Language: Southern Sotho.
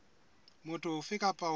motho ofe kapa ofe a